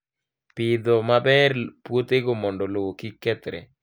Pidho maber puothego mondo lowo kik kethre